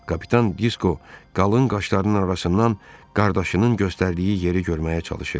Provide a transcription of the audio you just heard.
Kapitan Disko qalın qaşlarının arasından qardaşının göstərdiyi yeri görməyə çalışırdı.